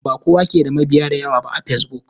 Bakowa ke da mabiya da yawa ba fesbok.